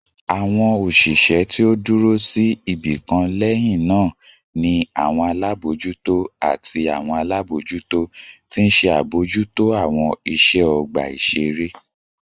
Awọn oṣiṣẹ ti o duro si ibikan lẹhinna ni awọn alabojuto ati awọn alabojuto ti nṣe abojuto awọn iṣẹ ọgba iṣere